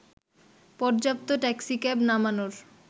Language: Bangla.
পর্যাপ্ত ট্যাক্সিক্যাব নামানোর